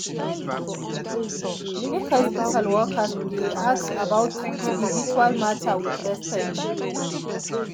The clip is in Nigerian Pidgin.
make hospital workers dey ask about spiritual matter with respect.